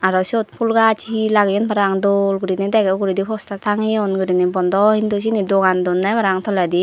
aro siyot phul gaj hee lageyon parang dol gurine dege uguredi postar tangeyon gurine bondo hindu siyeni dogan donne parang toledi.